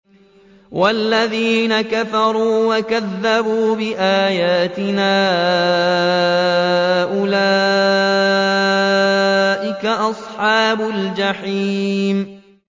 وَالَّذِينَ كَفَرُوا وَكَذَّبُوا بِآيَاتِنَا أُولَٰئِكَ أَصْحَابُ الْجَحِيمِ